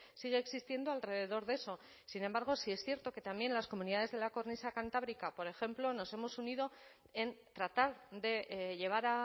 sigue existiendo alrededor de eso sin embargo sí es cierto que también las comunidades de la cornisa cantábrica por ejemplo nos hemos unido en tratar de llevar